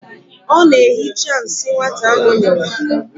Ọ na-ehicha nsị nwata ahụ nyụrụ.